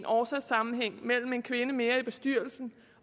årsagssammenhæng mellem en kvinde mere i bestyrelsen